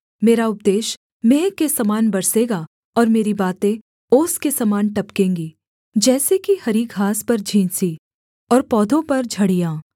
मेरा उपदेश मेंह के समान बरसेगा और मेरी बातें ओस के समान टपकेंगी जैसे कि हरी घास पर झींसी और पौधों पर झड़ियाँ